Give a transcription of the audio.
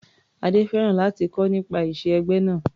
Adé fẹ́ràn láti kọ́ nípa ìṣe ẹgbẹ́ náà.